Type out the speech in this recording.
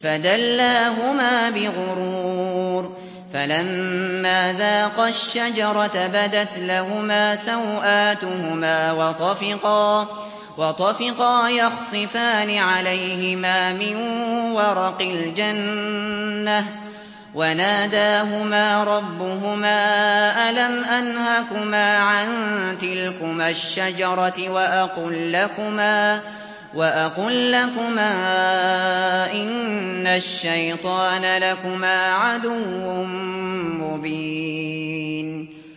فَدَلَّاهُمَا بِغُرُورٍ ۚ فَلَمَّا ذَاقَا الشَّجَرَةَ بَدَتْ لَهُمَا سَوْآتُهُمَا وَطَفِقَا يَخْصِفَانِ عَلَيْهِمَا مِن وَرَقِ الْجَنَّةِ ۖ وَنَادَاهُمَا رَبُّهُمَا أَلَمْ أَنْهَكُمَا عَن تِلْكُمَا الشَّجَرَةِ وَأَقُل لَّكُمَا إِنَّ الشَّيْطَانَ لَكُمَا عَدُوٌّ مُّبِينٌ